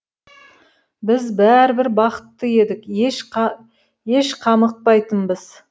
біз бәрібір бақытты едік еш қамықпайтынбыз